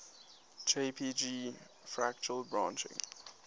jpg fractal branching